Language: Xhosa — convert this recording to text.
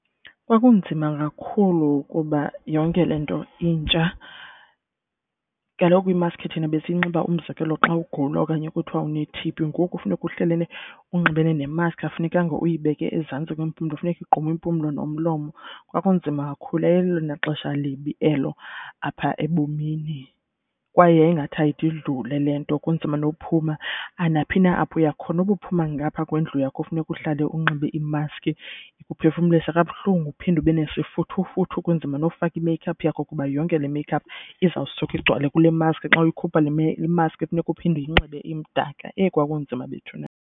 Kwakunzima kakhulu kuba yonke le nto intsha. Kaloku imask thina besiyinxiba umzekelo xa ugula okanye kuthwa une-T_B. Ngoku funeka uhlelene unxibene nemaski akufunekanga uyibeke ezantsi kwempumlo funeka igqume impumlo nomlomo. Kwakunzima kakhulu, yayilelona xesha libi elo apha ebomini. Kwaye yayi ngathi ayide idlule le nto kunzima nokuphuma naphi na apho uya khona. Noba uphuma ngaphaa kwendlu yakho funeka uhlale unxibe imaski, ikuphefumlisa kabuhlungu uphinde ube nesifuthufuthu kunzima nofaka i-make-up yakho. Kuba yonke le make-up izawusuka igcwale kule maski xa uyikhupha le maski funeka uphinde uyinxibe imdaka eyi kwakunzima bethuna.